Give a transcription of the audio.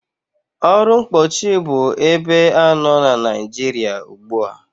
Ọrụ mkpóọchị bu ebe anọ na Nịajịrịa ugbua.